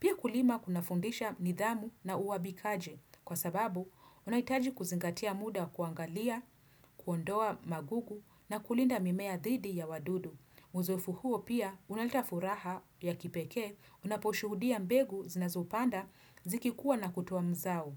Pia kulima kunafundisha nidhamu na uwajibikaji kwa sababu unahitaji kuzingatia muda kuangalia, kuondoa magugu na kulinda mimea dhidi ya wadudu. Uzoefu huo pia unaleta furaha ya kipekee unaposhuhudia mbengu zinazopanda zikikua na kutoa mzao.